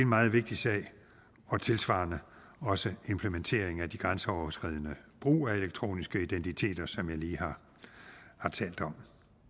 meget vigtig sag og tilsvarende også implementering af de grænseoverskridende brug af elektroniske identiteter som jeg lige har talt om